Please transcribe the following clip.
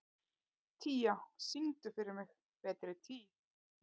Tía, syngdu fyrir mig „Betri tíð“.